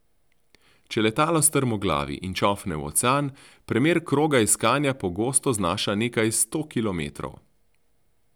Če letalo strmoglavi in čofne v ocean, premer kroga iskanja pogosto znaša nekaj sto kilometrov.